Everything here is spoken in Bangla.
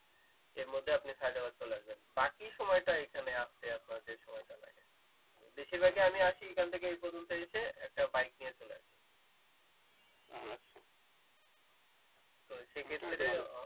এর মধ্যে আপনি সায়েদাবাদ চলে আসবেন বাকি সময়টা এখানে আসতে আপনার যে সময়টা লাগে বেশিরভাগই আমি আসি এইখান থেকে এই পর্যন্ত এসে একটা বাইক নিয়ে চলে যাই